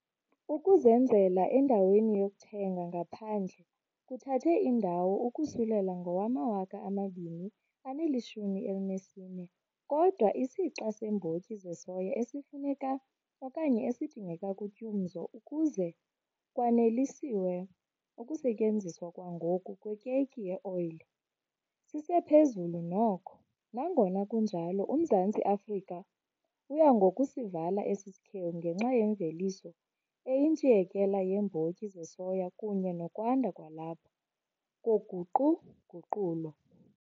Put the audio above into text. Ukuzenzela endaweni yokuthenga ngaphandle kuthathe indawo ukusulela ngowama-2014, kodwa isixa seembotyi zesoya esifuneka, esidingeka kutyumzo ukuze kwaneliswe ukusetyenziswa kwangoku kwekeyiki yeoyile, sisephezulu noko, nangona kunjalo uMzantsi Afrika uya ngokusivala esi sikhewu ngenxa yemveliso eyintshiyekela yeembotyi zesoya kunye nokwanda kwalapha koguqu-guqulo.